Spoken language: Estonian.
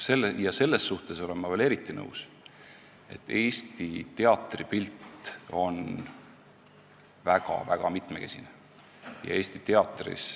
Selles suhtes olen ma veel eriti teiega nõus, et Eesti teatripilt on väga-väga mitmekesine.